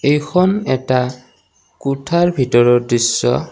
এইখন এটা কোঠাৰ ভিতৰৰ দৃশ্য।